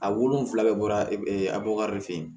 A wolonfila bɛɛ bɔra abukari